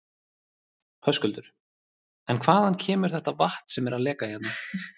Höskuldur: En hvaðan kemur þetta vatn sem er að leka hérna?